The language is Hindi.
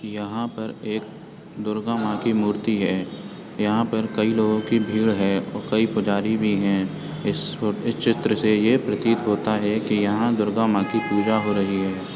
यहां पर एक दुर्गा माँ की मूर्ति है यहां पर कई लोगो की भीड़ है और कई पुजारी भी हैं इस फ़ोटो इस चित्र से ये प्रतीत होता है कि यहां दुर्गा माँ की पूजा हो रही है।